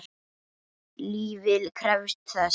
Lífið krefst þess.